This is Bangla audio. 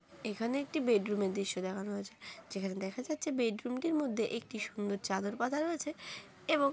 এখানে একটি বেডরুম -এর দৃশ্য দেখানো হয়েছে । যেখানে দেখা যাচ্ছে বেডরুম -টির মধ্যে একটি সুন্দর চাদর পাতা রয়েছে । এবং--